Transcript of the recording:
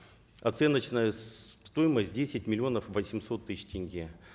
оценочная стоимость десять миллионов восемьсот тысяч тенге